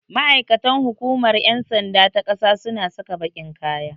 Ma'aikatan hukumar ƴan sanda ta ƙasa suna saka baƙin kaya.